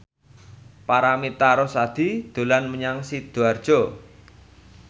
Paramitha Rusady dolan menyang Sidoarjo